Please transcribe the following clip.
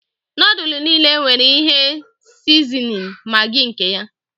Núdulú niile nwere ihe sizinin Maggi nke ya